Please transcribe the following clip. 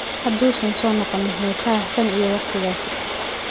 Haduusan soo noqon Mohamed Salah tan iyo waqtigaas.